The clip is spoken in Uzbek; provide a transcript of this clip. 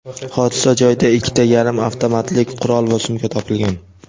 Hodisa joyida ikkita yarim avtomatlik qurol va sumka topilgan.